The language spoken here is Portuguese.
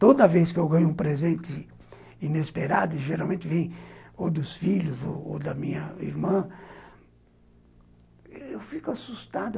Toda vez que eu ganho um presente inesperado, geralmente vem ou dos filhos ou da minha irmã, eu fico assustado.